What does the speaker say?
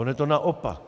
Ono je to naopak.